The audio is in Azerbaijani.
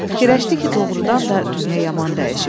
Fikirləşdi ki, doğrudan da dünya yaman dəyişib.